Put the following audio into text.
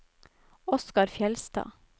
Oskar Fjeldstad